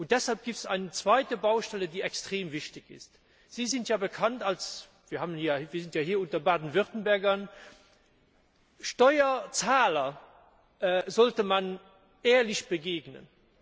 Deshalb gibt es eine zweite Baustelle, die extrem wichtig ist Sie sind ja bekannt wir sind ja hier unter Baden Württembergern Steuerzahlern sollte man ehrlich begegnen.